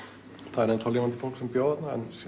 það er ennþá lifandi fólk sem bjó þarna